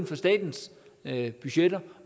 for statens budgetter